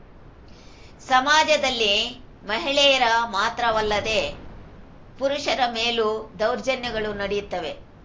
ಸಮಾಜದಲ್ಲಿ ಮಹಿಳೆಯರ ಮಾತ್ರವಲ್ಲದೇ ಪುರುಷರ ಮೇಲೂ ದೌರ್ಜನ್ಯಗಳು ನಡೆಯುತ್ತವೆ